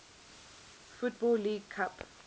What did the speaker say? football league cup